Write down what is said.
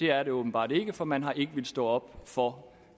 er det åbenbart ikke for man har ikke villet stå op for